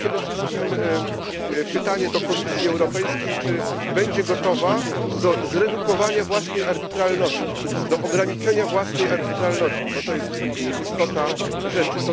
To jest przede wszystkim pytanie do Komisji Europejskiej czy będzie gotowa do zredukowania własnej arbitralności, do ograniczenia własnej arbitralności, bo to jest istota rzeczy?